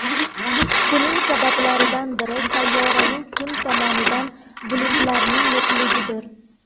Buning sabablaridan biri sayyoraning kun tomonida bulutlarning yo‘qligidir.